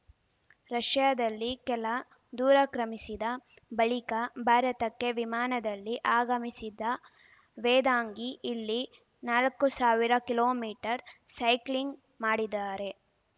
ರಷ್ಯಾದಲ್ಲಿ ಕೆಲ ದೂರ ಕ್ರಮಿಸಿದ ಬಳಿಕ ಭಾರತಕ್ಕೆ ವಿಮಾನದಲ್ಲಿ ಆಗಮಿಸಿದ ವೇದಾಂಗಿ ಇಲ್ಲಿ ನಾಲಕ್ಕು ಸಾವಿರ ಕಿಲೋ ಮೀಟರ್ ಸೈಕ್ಲಿಂಗ್‌ ಮಾಡಿದಾರೆ